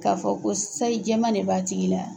K'a fɔ ko sayi jɛma de b'atigi la.